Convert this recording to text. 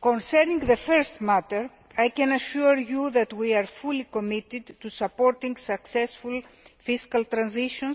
Concerning the first matter, I can assure you that we are fully committed to supporting successful fiscal transition